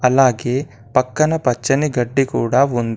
అలాగే పక్కన పచ్చని గడ్డి కూడా ఉంది.